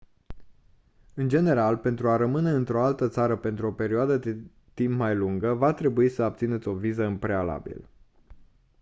în general pentru a rămâne într-o altă țară pentru o perioadă de timp mai lungă va trebui să obțineți o viză în prealabil